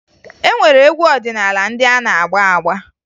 E nwere egwu ọdịnaala ndị a na-agba agba